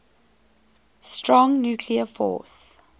strong nuclear force